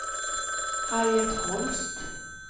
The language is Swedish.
Harriet Holst